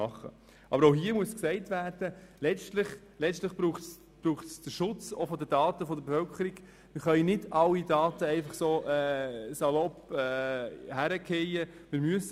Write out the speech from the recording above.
Doch auch hier muss man darauf hinweisen, dass der Schutz der Daten der Bevölkerung gewährleistet sein muss.